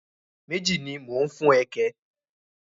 Méjì ni mo ń fún ẹ kẹ̀?